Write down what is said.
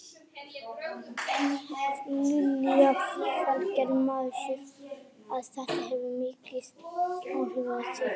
Lillý Valgerður: Maður sér að þetta hefur mikil áhrif á þig?